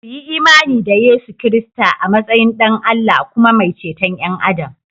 Kuyi imani da Yesu Kiristi a matsayin Ɗan Allah kuma mai ceton ’yan Adam